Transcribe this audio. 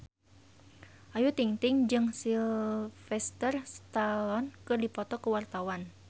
Ayu Ting-ting jeung Sylvester Stallone keur dipoto ku wartawan